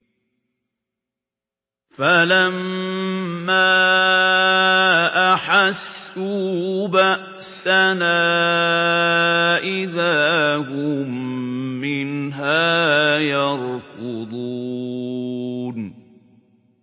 فَلَمَّا أَحَسُّوا بَأْسَنَا إِذَا هُم مِّنْهَا يَرْكُضُونَ